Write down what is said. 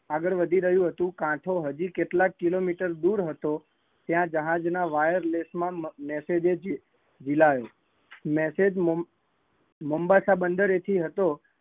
આગળ વધી રહીયુ હતું, કાંઠો હજુ કેટલા કિલોમીટર દૂર હતો, ત્યાં જહાજ ના માં wirelessmessage જ રિલયો, message મામ્બાસા બંદરે થી હતો